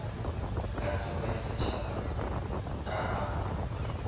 kantoro ya setšhaba ka ga